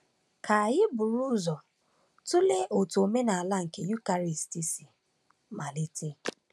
Ka anyị buru ụzọ tụlee otú omenala nke Eucharist si malite.